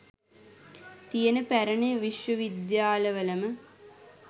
තියෙන පැරණි විශ්ව විද්‍යාලවලම